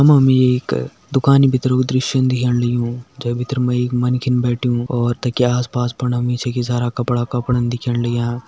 मा हमि एक दुकानि भितर कु दृश्य दिखेण लग्युं जै भितर मा एक मन्खिन बैठ्यूं और तखि आस पास फण हमि छकि सारा कपड़ा कपड़न दिखेण लग्यां।